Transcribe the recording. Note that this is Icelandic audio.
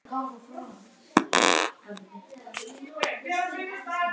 Hvernig er stemningin hjá Víði fyrir komandi sumar?